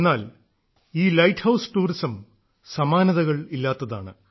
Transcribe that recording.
എന്നാൽ ഈ lighthouse tourism സമാനതകൾ ഇല്ലാത്തതാണ്